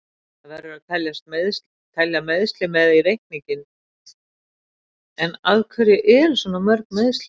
Það verður að telja meiðsli með í reikninginn, en af hverju eru svona mörg meiðsli?